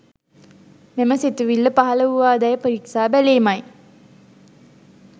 මෙම සිතුවිල්ල පහළ වූවාදැයි පිරික්සා බැලීමයි